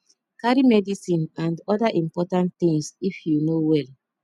carry medicine and oda important things if you no well